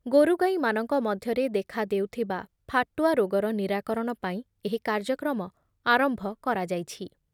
ଗୋରୁଗାଈମାନଙ୍କ ମଧ୍ୟରେ ଦେଖାଦେଉଥିବା ଫାଟୁଆ ରୋଗର ନିରାକରଣ ପାଇଁ ଏହି କାର୍ଯ୍ୟକ୍ରମ ଆରମ୍ଭ କରାଯାଇଛି ।